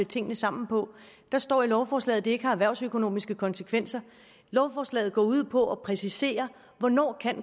tingene sammen på der står i lovforslaget at det ikke har erhvervsøkonomiske konsekvenser lovforslaget går ud på at præcisere hvornår